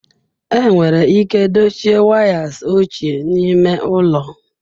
Enwere ike dochie wires ochie n'ime ụlọ?